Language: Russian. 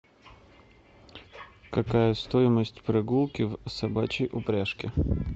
какая стоимость прогулки в собачьей упряжке